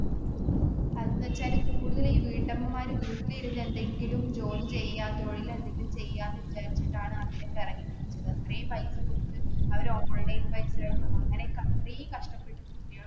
അതെന്ന് വെച്ചാല് കൂടുതൽ ഈ വീട്ടമ്മമാർ വീട്ടിൽ ഇരുന്ന് എന്തെങ്കിലും ജോലിചെയ്യ തൊഴിലെന്തെങ്കും ചെയ്യാന്ന് വിചാരിച്ചിട്ടാണ് അതിലേക്ക് ഇറങ്ങി തിരിച്ചത് ഇത്രേം പൈസ കൊടുത്ത് അവര് പോയി ചേർന്ന് അങ്ങനെ അത്രേം കഷ്ട്ടപെട്ടിട്ട് കുട്ടികളും